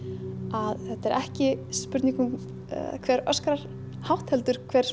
að þetta er ekki spurning um hver öskrar hátt heldur hver